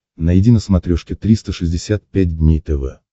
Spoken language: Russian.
найди на смотрешке триста шестьдесят пять дней тв